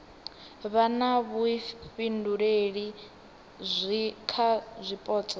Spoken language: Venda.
vha na vhuifhinduleli kha zwipotso